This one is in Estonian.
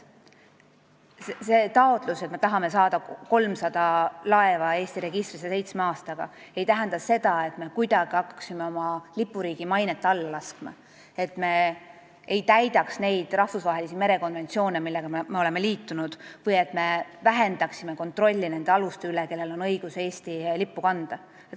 See taotlus, et me tahame saada 300 laeva Eesti registrisse seitsme aastaga, ei tähenda seda, et me hakkaksime kuidagi oma lipuriigi mainet alla laskma, et me ei täidaks neid rahvusvahelisi merekonventsioone, millega me oleme liitunud või et me vähendaksime kontrolli nende aluste üle, kellel on õigus Eesti lippu kanda.